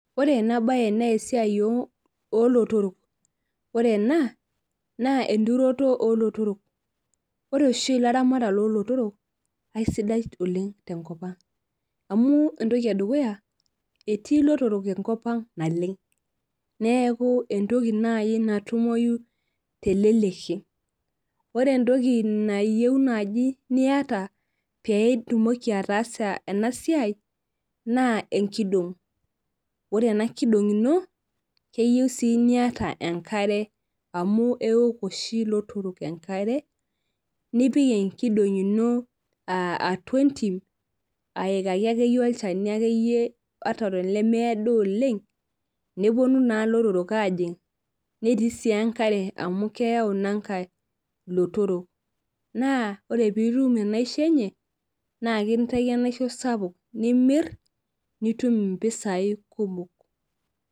Ore enabae na esiai olotorok ore ena na enturoto olotorok ore oshi laramatak olotorok aisidai oleng tenkop aang amu entoki edukuya etii lotorok enkop ang naleng neaku entoki nai natumoi teleleki ore entoki nayieu nai niata peitumoki ataasa enasiai na enkidong ore enakidong ino keyieu si niita enkare amu eok oshi lotorok enkare nipik enkidong ino atua entim aikaki akeyie olchani akeyie lemeedi oleng neponu na lotorok ajing netii sii enkare amu keyau inankae lotorok na ore pitum inaishi enye na ekintaki enaiho sapuk nimir nitum mpisai kumok.